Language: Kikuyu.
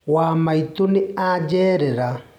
Wa maitũ nĩ ajerera.